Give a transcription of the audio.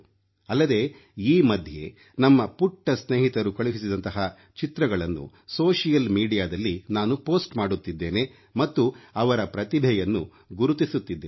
ಅಲ್ಲದೆ ಈ ಮಧ್ಯೆ ನಮ್ಮ ಪುಟ್ಟ ಸ್ನೇಹಿತರು ಕಳುಹಿಸಿದಂತಹ ಚಿತ್ರಗಳನ್ನು ಸಾಮಾಜಿಕ ಮಾಧ್ಯಮದಲ್ಲಿ ನಾನು ಪೋಸ್ಟ್ ಮಾಡುತ್ತಿದ್ದೇನೆ ಮತ್ತು ಅವರ ಪ್ರತಿಭೆಯನ್ನು ಗುರುತಿಸುತ್ತಿದ್ದೇನೆ